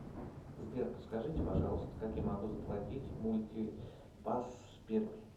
сбер подскажите пожалуйста как я могу заплатить мультипас пермь